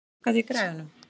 Reidar, hækkaðu í græjunum.